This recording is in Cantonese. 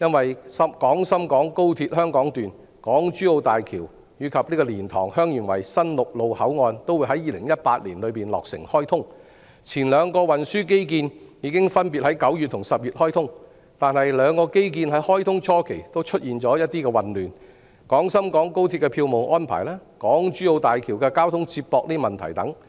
因為廣深港高鐵香港段、港珠澳大橋及蓮塘/香園圍新陸路口岸都會在2018年落成開通，前兩個運輸基建已分別在9月和10月開通，但兩個基建在開通初期均出現混亂，包括廣深港高鐵的票務安排和港珠澳大橋的交通接駁問題等。